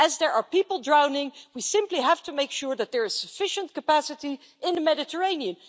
As there are people drowning, we simply have to make sure that there is sufficient capacity in the Mediterranean.